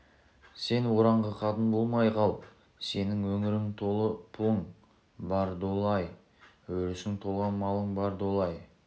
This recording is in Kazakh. сен ораңқы қатын болмай қал сенің өңірің толы пұлың бар долы-ай өрісің толған малың бар долы-ай